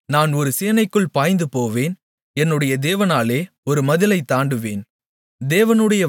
உம்மாலே நான் ஒரு சேனைக்குள் பாய்ந்துபோவேன் என்னுடைய தேவனாலே ஒரு மதிலைத் தாண்டுவேன்